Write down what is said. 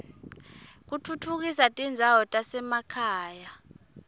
kutfutfukisa tindzawo tasema khaya